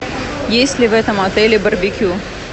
есть ли в этом отеле барбекю